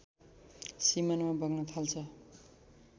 सिमानामा बग्न थाल्छ